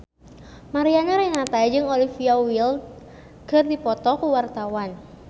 Mariana Renata jeung Olivia Wilde keur dipoto ku wartawan